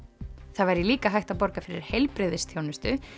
það væri líka hægt að borga fyrir heilbrigðisþjónustu